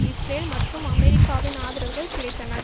Israel மற்றும் அமெரிக்காவின் ஆதரவுகள் கிடைத்தன